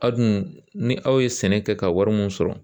A dun ni aw ye sɛnɛ kɛ ka wari min sɔrɔ